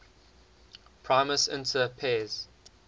primus inter pares